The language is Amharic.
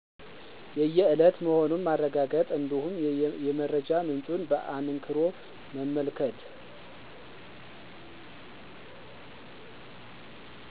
የየእለት መሆኑን ማረጋገጥ እንዲሁም የመረጃ ምንጩን በአንክሮ መመልከት